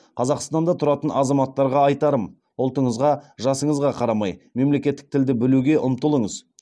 қазақстанда тұратын азаматтарға айтарым ұлтыңызға жасыңызға қарамай мемлекеттік тілді білуге ұмтылыңыз